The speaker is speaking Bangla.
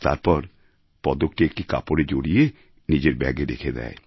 তারপর পদকটি একটি কাপড়ে জড়িয়ে নিজের ব্যাগে রেখে দেয়